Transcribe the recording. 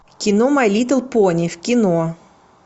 кино май литл пони в кино